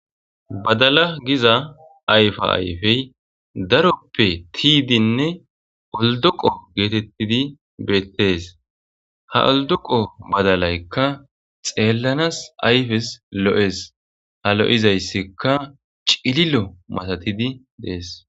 Badala giza ayfa ayfey daroppe tiyidinne oldoqo geetettidi beettees ha oldoqo badalaykka xeellanas ayfes lo7es ha lo'izayssikka cililo matatidi dees.